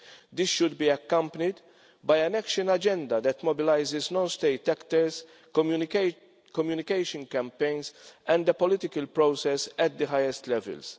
This should be accompanied by an action agenda that mobilises non state actors, communication campaigns and the political process at the highest levels.